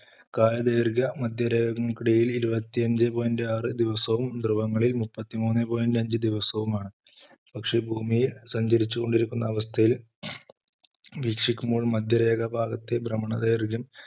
കാലദൈർഘ്യം മധ്യരേഖകൾക്കിടയിൽ ഇരുപത്തി അഞ്ചേ point ആറ് ദിവസവും ധ്രുവങ്ങളിൽ മൂപ്പത്തിമൂന്നേ point അഞ്ച് ദിവസവും ആണ് പക്ഷേ ഭൂമിയിൽ സഞ്ചരിച്ചുകൊണ്ടിരിക്കുന്ന അവസ്ഥയിൽ വീക്ഷിക്കുമ്പോൾ മധ്യരേഖ ഭാഗത്തെ ഭ്രമണ ദൈർഘ്യം